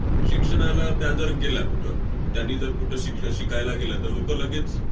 शिक्षणाला त्या जर गेल्या कुठं, त्यांनी जर कुठं शिक्ष~ शिकायला गेल्या, तर लोकं लगेच